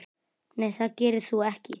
Nei það gerir þú ekki.